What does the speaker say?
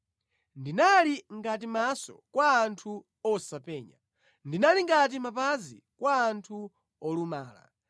Ndinali ngati maso kwa anthu osapenya; ndinali ngati mapazi kwa anthu olumala.